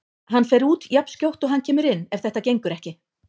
Hann fer út jafnskjótt og hann kemur inn ef þetta gengur ekki.